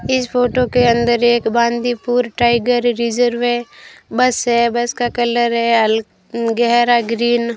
इस फोटो के अंदर एक बांदीपुर टाइगर रिजर्व है बस है बस का कलर है हल गहरा ग्रीन ।